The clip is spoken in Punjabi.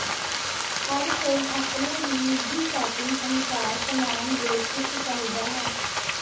ਹਰ ਕੋਈ ਆਪਣੇ ਹੀ ਨਿੱਜੀ ਸੈਟਿੰਗ ਅਨੁਸਾਰ ਸਾਮਾਨ ਦੇ ਚੁੱਕ ਚਾਹੀਦਾ ਹੈ